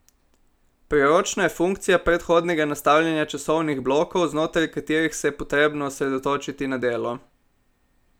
Priročna je funkcija predhodnega nastavljanja časovnih blokov znotraj katerih se je potrebno osredotočiti na delo.